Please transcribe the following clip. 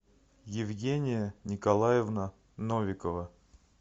евгения николаевна новикова